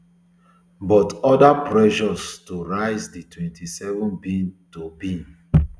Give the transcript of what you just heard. but oda pressures to rise di twenty-seven two